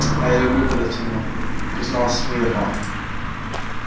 а я люблю когда темно призналась мирра